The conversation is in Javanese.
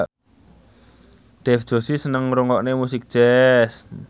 Dev Joshi seneng ngrungokne musik jazz